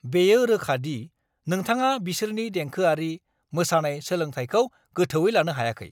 बेयो रोखा दि नोंथाङा बिसोरनि देंखोआरि, मोसानाय सोलोंथायखौ गोथौवै लानो हायाखै!